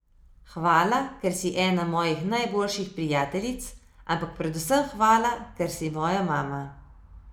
Hvala, ker si ena mojih najboljših prijateljic, ampak predvsem hvala, ker si moja mama.